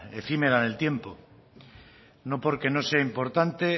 efímera en el tiempo no porque no sea importante